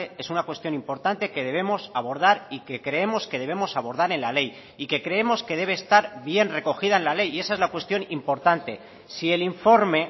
es una cuestión importante que debemos abordar y que creemos que debemos abordar en la ley y que creemos que debe estar bien recogida en la ley y esa es la cuestión importante si el informe